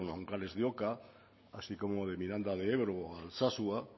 o nanclares de oca así como de miranda de ebro o alsasua